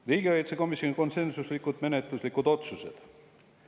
Riigikaitsekomisjoni konsensuslikud menetluslikud otsused.